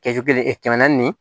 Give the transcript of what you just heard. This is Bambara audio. Kɛsu kelen kɛmɛ naani